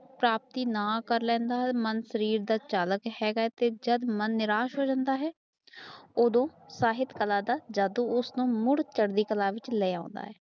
ਸ਼ਕਤੀ ਨਾ ਕਰ ਲੇਦਾ ਹੈ ਮਨ ਸਰੀਰ ਦਾ ਚਾਲਾਕ ਹੈਗਾ ਤੇ ਜਦ ਮਨ ਨਿਰਾਸ਼ ਹੋ ਜਾਂਦਾ ਆ ਓਦੋ ਸਾਹਿਤ ਕਲਾ ਦਾ ਜਾਦੁ ਉਸਨੂੰ ਮੁੜ ਚੜਦੀ ਕਲਾ ਵਿੱਚ ਲੇਅਦਾ ਹੈ